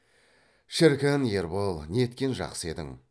шіркін ербол неткен жақсы едің